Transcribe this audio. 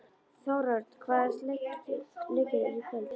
Þórörn, hvaða leikir eru í kvöld?